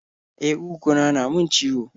E, kuguna na min ciwo.